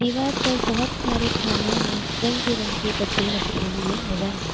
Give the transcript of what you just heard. दीवार पर बहोत सारे खानों में रंग-बिरंगे डब्बे रखे हुए नजर आ रहे --